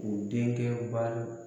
u denkɛ